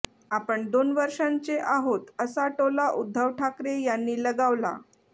आपण दोन वर्षांचे आहोत असा टोला उद्धव ठाकरे यांनी लगावला